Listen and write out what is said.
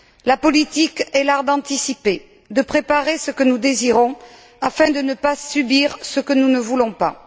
La politique est l'art d'anticiper, de préparer ce que nous désirons afin de ne pas subir ce que nous ne voulons pas.